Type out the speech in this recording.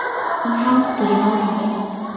Hún heldur í horfi.